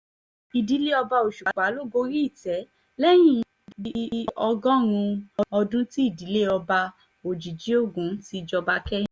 ìdílé ọba òṣùpá ló gorí ìtẹ́ lẹ́yìn bíi ọgọ́rùn-ún ọdún tí ìdílé ọba òjijìgògun ti jọba kẹ́yìn